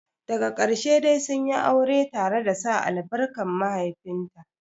Daga ƙarshe dai sunyi aure tare da sa albarkar mahaifinta.